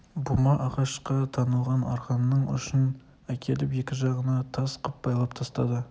бума ағашқа танылған арқанның ұшын әкеліп екі жағына тас қып байлап тастады